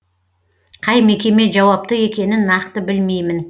қай мекеме жауапты екенін нақты білмеймін